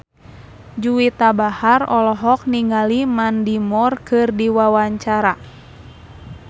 Juwita Bahar olohok ningali Mandy Moore keur diwawancara